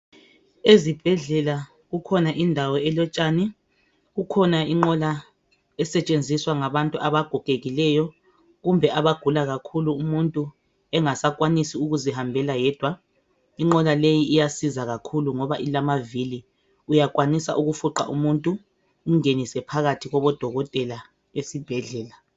Ezibhedlela kukhona indawo elotshani kukhona inqola esetshenziswa ngabantu abagogekileyo kumbe abagula kakhulu umuntu engasakwanisi ukuzihambela yedwa. Inqola leyi iyasiza kakhulu ngoba ilamavili uyakwanisa ukufuqa umuntu umgenise phakathi kubokotela esibhedlela.